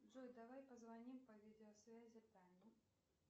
джой давай позвоним по видеосвязи тане